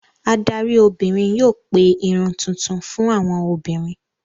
Adarí obìnrin yóò pe Irun tuntun fún àwọn obìnrin.